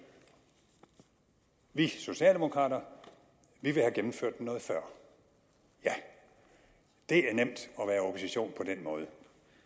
vi socialdemokrater vil have gennemført den noget før ja det er nemt at den måde